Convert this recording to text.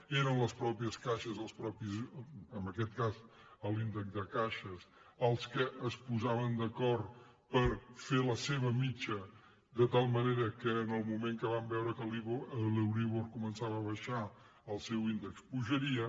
eren les matei·xes caixes en aquest cas l’índex de caixes les que es posaven d’acord per fer la seva mitjana de tal manera que en el moment que van veure que l’euríbor comen·çava a baixar el seu índex pujaria